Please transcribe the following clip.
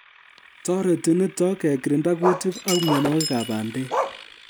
Toreti nito kekirinda kutiik ak mienwokikab bandek